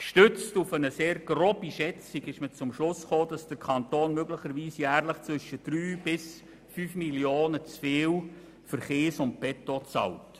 Gestützt auf eine sehr grobe Schätzung kam man zum Schluss, dass der Kanton möglicherweise jährlich zwischen 3 bis 5 Mio. Franken zu viel für Kies und Beton bezahlt.